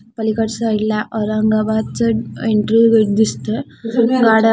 पलीकडच्या साइडला औरंगाबादच एंट्री गेट दिसत गाड्या--